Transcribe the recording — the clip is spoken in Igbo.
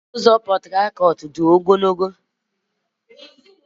Ụzọ okporo ụzọ Portharcourt-A dị ogologo.